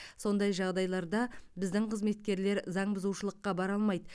сондай жағдайларда біздің қызметкерлер заңбұзушылыққа бара алмайды